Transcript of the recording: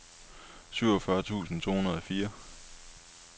syvogfyrre tusind to hundrede og fire